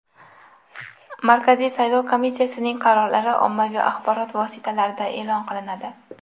Markaziy saylov komissiyasining qarorlari ommaviy axborot vositalarida e’lon qilinadi.